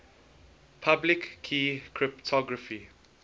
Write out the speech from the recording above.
public key cryptography